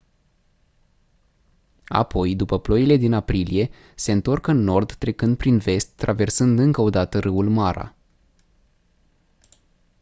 apoi după ploile din aprilie se întorc în nord trecând prin vest traversând încă o dată râul mara